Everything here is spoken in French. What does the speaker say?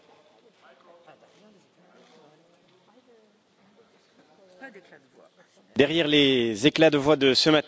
Madame la Présidente, derrière les éclats de voix de ce matin, il y a des réalités très concrètes et des risques très concrets pour l'avenir de nos pays.